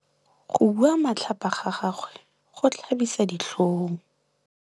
Go bua matlhapa ga gagwe go tlhabisa ditlhong.